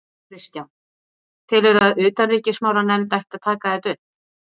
Kristján: Telurðu að utanríkismálanefnd ætti að taka þetta upp?